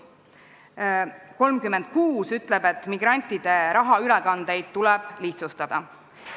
Punkt 36 ütleb, et migrantide rahaülekandeid tuleb lihtsustada.